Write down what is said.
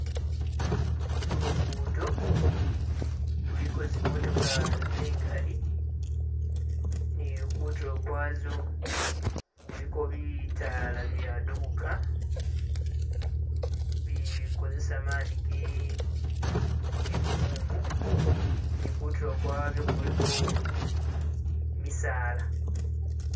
Lugudo luliko zimotoka zingali ni kutilo kwazo kuliko bitaala bibyadubuka bikozesa mani ge gumumu ni kutulo kwabyo kuliko misaala